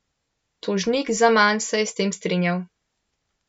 Tožnik Zaman se je s tem strinjal.